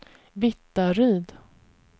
Vittaryd